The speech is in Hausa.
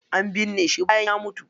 An binne shi bayan ya mutu.